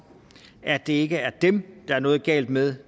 at det ikke er dem der er noget galt med